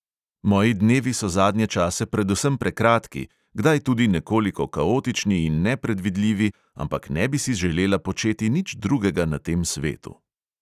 Moji dnevi so zadnje čase predvsem prekratki, kdaj tudi nekoliko kaotični in nepredvidljivi, ampak ne bi si želela početi nič drugega na tem svetu."